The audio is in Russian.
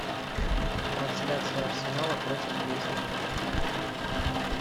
трансляция арсенала против лестера